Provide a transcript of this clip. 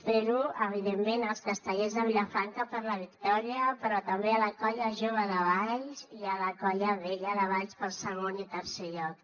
fer ho evidentment als castellers de vilafranca per la victòria però també a la colla jove de valls i a la colla vella de valls pel segon i tercer lloc